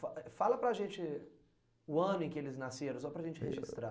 Fala para a gente o ano em que eles nasceram, só para a gente registrar.